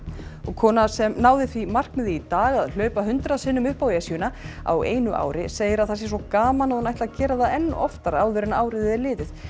kona sem náði því markmiði í dag að hlaupa hundrað sinnum upp á Esjuna á einu ári segir að það sé svo gaman að hún ætli að gera það enn oftar áður en árið er liðið